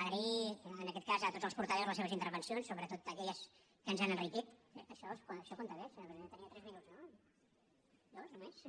agrair en aquest cas a tots els portaveus les seves intervencions sobretot aquelles que ens han enriquit eh això compta bé senyora presidenta tenia tres minuts no dos només